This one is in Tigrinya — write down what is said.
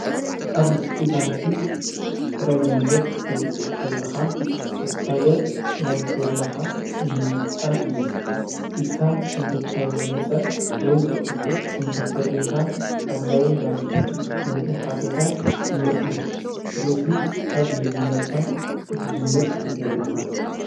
ኣብ ውሽጢ ባንኪ ጥረ ገንዘብ ክተውፅኸለኻ ዝኸደ ናይ ፌርማኻ ንምልጥጣን እዩ ኢድካ እንተ ተመጸ ወይ ብቕጥፍ እንተፈሪምካ ሓላዊይ ባንኪ ነቲ ኃተታ ይነጽጎ ስለዙ ካብ መጀመርታ ክትጅምር ይገብረካ።